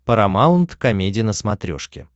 парамаунт комеди на смотрешке